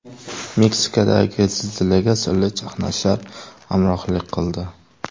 Meksikadagi zilzilaga sirli chaqnashlar hamrohlik qildi.